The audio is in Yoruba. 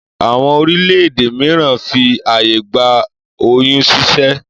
Àwọn orílẹ̀-èdè míràn fi ààyè gba oyún ṣíṣẹ́